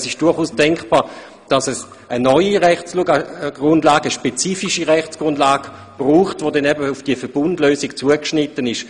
Es ist durchaus auch denkbar, dass es eine neue, spezifische Rechtsgrundlage braucht, die dann genau auf diese Verbundlösung zugeschnitten ist.